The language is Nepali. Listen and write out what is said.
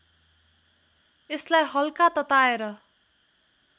यसलाई हल्का तताएर